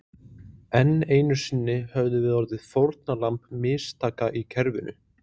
Enn einu sinni höfðum við orðið fórnarlömb mistaka í kerfinu.